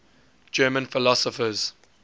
german philosophers